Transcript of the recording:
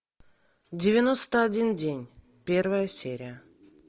девяносто один день первая серия